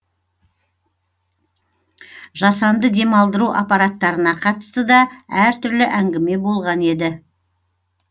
жасанды демалдыру аппараттарына қатысты да әртүрлі әңгіме болған еді